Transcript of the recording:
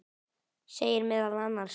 segir meðal annars